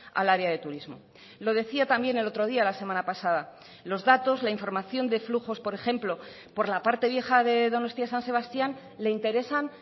al área de turismo lo decía también el otro día la semana pasada los datos la información de flujos por ejemplo por la parte vieja de donostia san sebastián le interesan